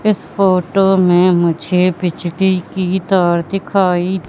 इस फोटो में मुझे बिजली की तार दिखाई--